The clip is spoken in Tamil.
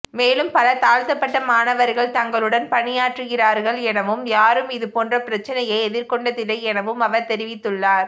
மேலும் பல தாழ்த்தப்பட்ட மாணவர்கள் தங்களுடன் பணியாற்றுகிறார்கள் எனவும் யாரும் இது போன்ற பிரச்சனையை எதிர்கொண்டதில்லை எனவும் அவர் தெரிவித்துள்ளார்